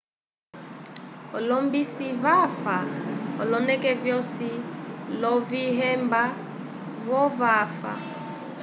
olombisi vafa oloneke vyosi, lovihemba vo vava